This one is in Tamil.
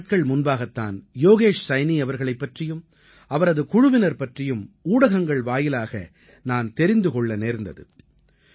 சில நாட்கள் முன்பாகத் தான் யோகேஷ் சைனீ அவர்களைப் பற்றியும் அவரது குழுவினர் பற்றியும் ஊடகங்கள் வாயிலாக நான் தெரிந்து கொள்ள நேர்ந்தது